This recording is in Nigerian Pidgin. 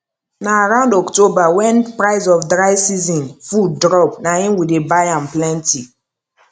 na around october wen price of dry season food drop na im we dey buy am plenty